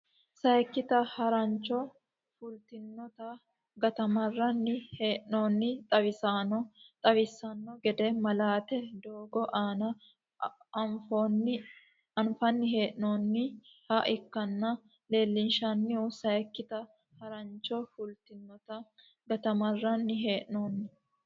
Sayikkita harancho fultinotanna gatamarranni hee noonni xawisanno xawissanno gede malaate doogo aana oonfanni hee noonniha ikkiro leellinshanni Sayikkita harancho fultinotanna gatamarranni hee noonni.